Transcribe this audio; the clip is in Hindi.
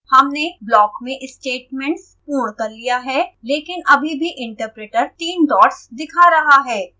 हमने block में statements पूर्ण कर लिया है लेकिन अभी भी interpreter तीन डॉट्स दिखा रहा है